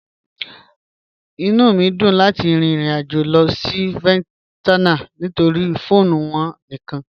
Inú mi yó dùn láti rìn ìrìn-àjọ̀ lọ sí Vietnam nítorí̀ pho wọn níkan.